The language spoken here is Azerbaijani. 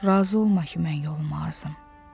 Razı olma ki, mən yolumdan azım.